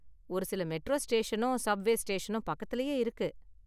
ஒரு சில மெட்ரா ஸ்டேஷனும் சப்வே ஸ்டேஷனும் பக்கத்திலேயே இருக்கு.